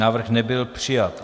Návrh nebyl přijat.